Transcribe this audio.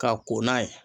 Ka ko n'a ye